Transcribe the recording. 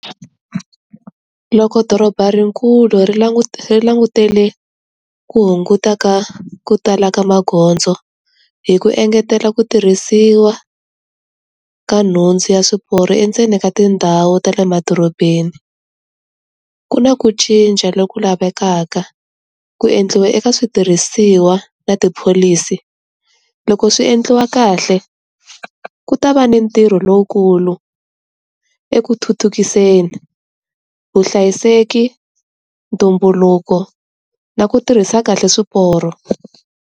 Loko doroba ri kulu ri ri langutele ku hunguta ka ku tala ka magondzo, hi ku engetela ku tirhisiwa ka nhundzu ya swiporo endzeni ka tindhawu ta le madorobeni. Ku na ku cinca lo ku lavekaka, ku endliwa eka switirhisiwa na ti-policy. Loko swi endliwa kahle, ku ta va ni ntirho lowukulu eku thuthukiseni, vuhlayiseki, ntumbuluko, na ku tirhisa kahle swiporo.